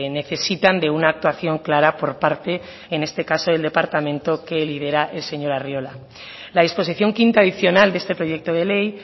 necesitan de una actuación clara por parte en este caso del departamento que lidera el señor arriola la disposición quinta adicional de este proyecto de ley